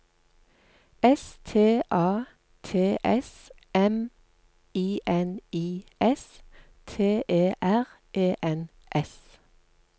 S T A T S M I N I S T E R E N S